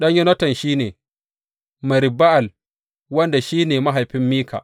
Ɗan Yonatan shi ne, Merib Ba’al wanda shi ne mahaifin Mika.